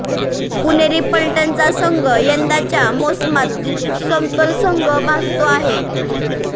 पुणेरी पलटणचा संघ यंदाच्या मोसमात समतोल संघ भासतो आहे